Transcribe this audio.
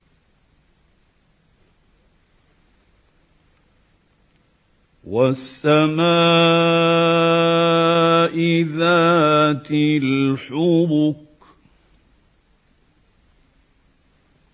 وَالسَّمَاءِ ذَاتِ الْحُبُكِ